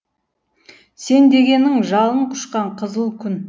сен дегенің жалын құшқан қызыл күн